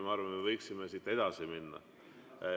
Ma arvan, et me võiksime edasi minna.